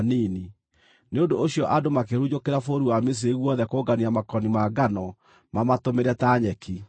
Nĩ ũndũ ũcio andũ makĩhurunjũkĩra bũrũri wa Misiri guothe kũngania makoni ma ngano mamatũmĩre ta nyeki.